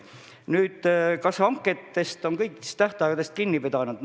Nüüd, kas hangetega on tähtaegadest kinni peetud?